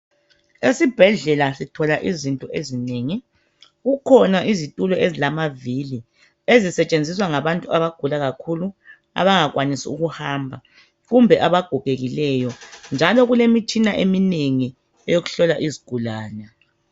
Esibhedlela kukhona izitulo ezilamavili. Ezisetshenziswa ngabantu abagula kakhulu. Abangakwsnisi ukuhamba, kumbe abagogekileyo, njalo kulemitshina eminengi. Yokuhlola izigulane.